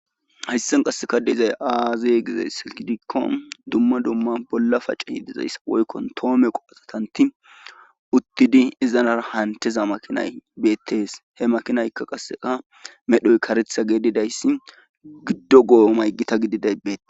hayssan qasseka deizay aazey gizays si gidikko dumma dumma bolla pace hi dizayssa woykkon toome qophatatanti uttidi izanara hanteza makinay beettees he makinaykka qasseka medhoy karetha geedidayssi giddo go7o maygita gidi deybbeet